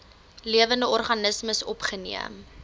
lewende organismes opgeneem